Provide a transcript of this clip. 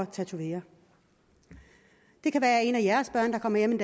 tatovere det kan være en af jeres børn der kommer hjem en